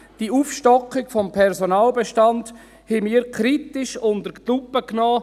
Die Aufstockung des Personalbestands haben wir kritisch unter die Lupe genommen.